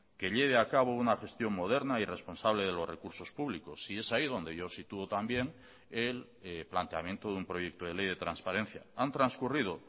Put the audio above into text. que lleve a cabo una gestión moderna y responsable de los recursos públicos y es ahí donde yo sitúo también el planteamiento de un proyecto de ley de transparencia han transcurrido